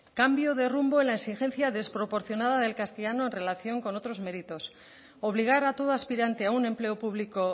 cambio de rumbo en la exigencia desproporcionada del castellano en relación con otros méritos obligar a todo aspirante a un empleo público